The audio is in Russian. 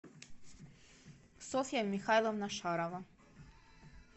софья михайловна шарова